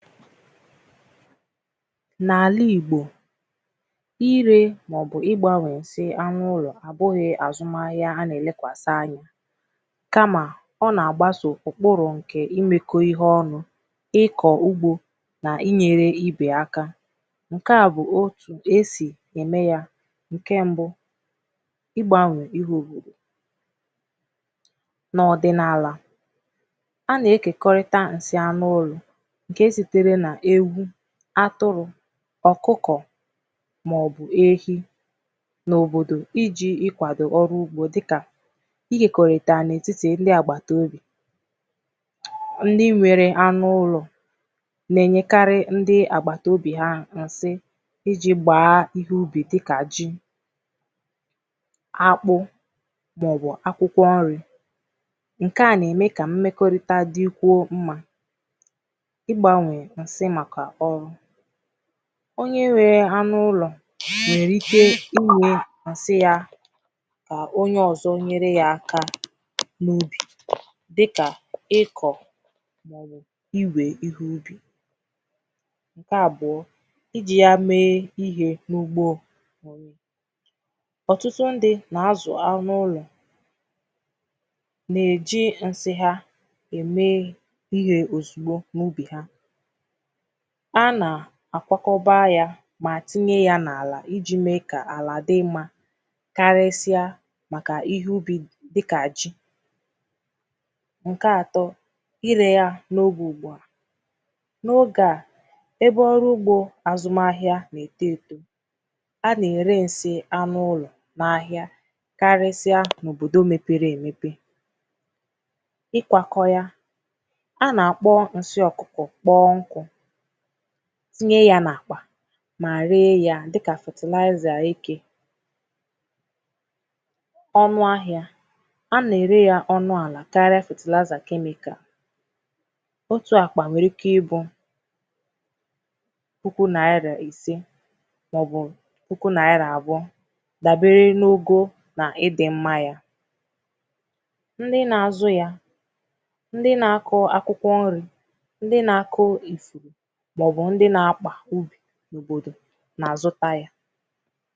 N’ala Igbò irē maọ̀bụ̀ ịgbanwe dị anụ̀ ụlọ̀ abụghị̀ azụma ahịà a na-elekwasi anya kamà ọ na-agbasa okporo nke imekọ̀ ihe ọnụ̀ ịkọ̀ ugbò n’inyere ibe akà nke à bụ̀ o bụ̀ e sì eme yà nke mbụ̀ ịgbanwe ihoho n’ọdịnaalà a na-ekokorità nsì anụ̀ ụlọ̀ nke sitere na ewu atụrụ ọkụkọ maọ̀bụ̀ ehi n’òbodò iji kwado ọrụ̀ ugbò dịkà igekorità n’etiti ndị agbataobì ndị nwere anụ̀ ụlọ̀ na-enyekari ndị agbataobì ha nsị iji gbaa ihe ubi dịkà ji akpụ maọ̀bụ̀ akwụkwọ̀ nrì nke à na-eme ka mmekorità dikwuo mma ịgbanwe nsị makà ọrụ̀ onye nwe anụ̀ ụlọ̀ nwere ike iwụ̀ nsị ya ka onye ọzọ̀ nyere ya akà n’ubì dịkà ịkọ̀ igwè ihe ubì nke abụọ̀ iji ya mee ihe n’ugbo ọtụtụ ndị na-azụ̀ anụ̀ ụlọ̀ na-eje nsị ha emee ihe ozugbò n’ubì ha a na akwakọba yà ma tinye ya n’alà iji mee ka alà dị mma karịsịaa makà ihe ubi dịkà ji nke atọ̀ ire yà n’oge ugbu à n’oge à ebe ọrụ̀ ugbò azụmà ahịà na-eto etò a na-ere nsị anụ̀ ụlọ̀ n’ahịà karịsịa n’òbodò mepere emepè ikwakọ yà a na-akpọ̀ nsị ọkụkọ̀ kpọ nkụ̀ tinye yà n’àkpà ma ree ya dịkà fertilizer eke ọnụ̀ ahịà a na-ere yà ọnụ̀ alà karịà fertilizer chemical otù àkpà nwere ike ịbụ̀ puku nairà isè maọ̀bụ̀ puku nairà abụọ̀ dabere n’ogo na ịdị mma yà ndị na-azụ yà ndị na-akọ akwụkwọ̀ nrì ndị na-akọ̀ i maọ̀bụ̀ ndị n’akpà u n’òbodò na-azụtà yà